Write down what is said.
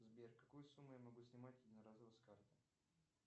сбер какую сумму я могу снимать единоразово с карты